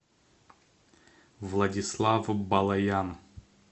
владислав балаян